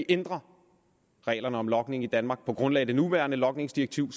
ændre reglerne om logning i danmark på grundlag af det nuværende logningsdirektiv